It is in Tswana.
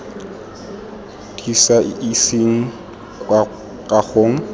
di sa iseng kwa kagong